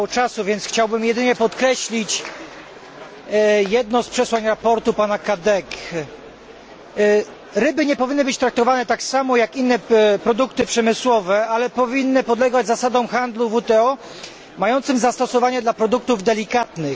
Mam mało czasu, więc chciałbym jedynie podkreślić jedno z przesłań sprawozdania pana Cadeca. Ryby nie powinny być traktowane tak samo jak inne produkty przemysłowe, ale powinny podlegać zasadom handlu WTO mającym zastosowanie do produktów delikatnych.